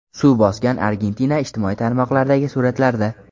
Suv bosgan Argentina ijtimoiy tarmoqlardagi suratlarda .